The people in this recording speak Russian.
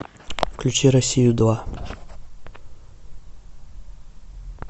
включи россию два